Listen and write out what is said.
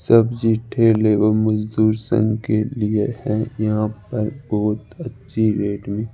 सब्जी ठेले एवं मजदूर संघ के लिए है यहां पर बहुत अच्छी रेट में --